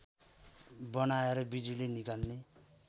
बनाएर बिजुली निकाल्ने